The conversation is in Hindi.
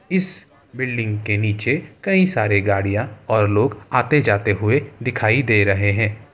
इस बिल्डिंग के नीचे कई सारे गाड़ियां और लोग आते जाते हुए दिखाई दे रहे है।